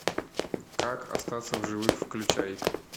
как остаться в живых включай